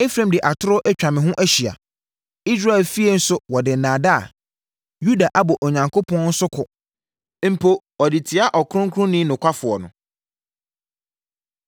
Efraim de atorɔ atwa me ho ahyia, Israel efie nso wɔde nnaadaa. Yuda abɔ Onyankopɔn so ko mpo ɔde tia Ɔkronkronni nokwafoɔ no.